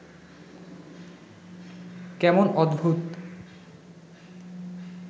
কেমন অদ্ভুত